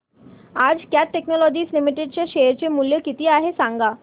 आज Cat Technologies Limited चे share चे मूल्य किती आहे सांगा